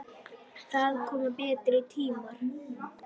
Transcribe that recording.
Það koma betri tímar.